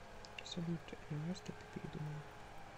салют энраста ты передумала